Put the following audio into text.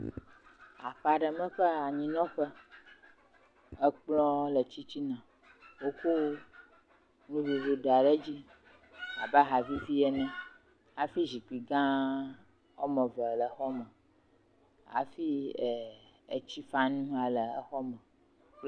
Aƒe aɖe me ƒe anyinɔƒe. Ekplɔ le titina. Wokɔ nuɖuɖu da ɖe edzi abe aha vovo ene eye zikpui gã woame eve le xɔ me hafi etsifanu hã le exɔ me.